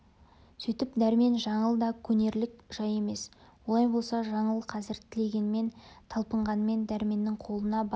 сөйтіп дәрмен жаңыл да көнерлік жай емес олай болса жаңыл қазір тілегенмен талпынғанмен дәрменнің қолына бара